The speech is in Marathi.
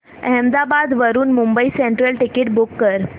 अहमदाबाद वरून मुंबई सेंट्रल टिकिट बुक कर